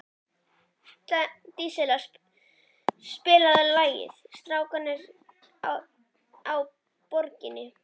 Díanna, spilaðu lagið „Strákarnir á Borginni“.